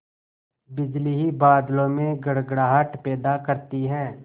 बिजली ही बादलों में गड़गड़ाहट पैदा करती है